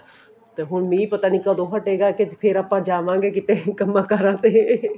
ਤੇ ਹੁਣ ਮੀਂਹ ਪਤਾ ਨੀ ਕਦੋਂ ਹਟੇਗਾ ਫ਼ੇਰ ਆਪਾਂ ਜਾਵਾਂਗੇ ਕਿਤੇ ਕੰਮਾ ਕਾਰਾਂ ਤੇ